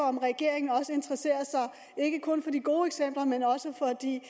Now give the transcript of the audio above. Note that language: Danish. om regeringen ikke kun for de gode eksempler men også for de